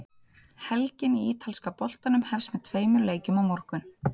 Helgin í ítalska boltanum hefst með tveimur leikjum á morgun.